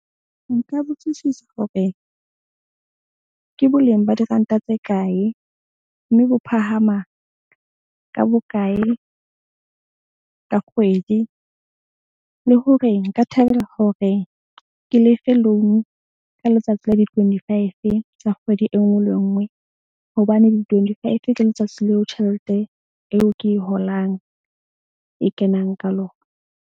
Nka botsisisa hore ke boleng ba diranta tse kae, mme bo phahama ka bokae ka kgwedi le hore nka thabela hore ke lefe loan-u ka letsatsi la di-twenty five tsa kgwedi e nngwe le e nngwe. Hobane di-twenty five ke letsatsi leo tjhelete eo ke e holang e kenang ka lona.